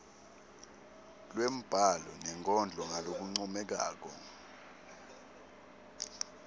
lwembhalo nenkondlo ngalokuncomekako